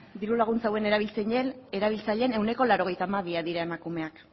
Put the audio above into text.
diru laguntza hauen erabiltzaileen ehuneko laurogeita hamabia dira emakumeak